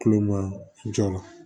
Kulo ma jɔ la